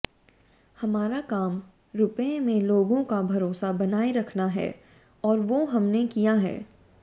हमारा काम रुपये में लोगों का भरोसा बनाए रखना है और वो हमने किया है